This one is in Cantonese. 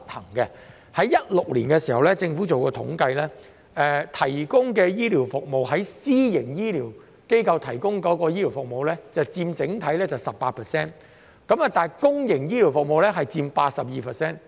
在2016年，政府進行了一項統計，私營醫療機構提供的醫療服務佔整體 18%， 而公營醫療服務則佔 82%。